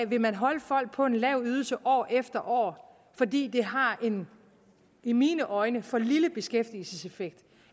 vil holde folk på en lav ydelse år efter år fordi det har en i mine øjne for lille beskæftigelseseffekt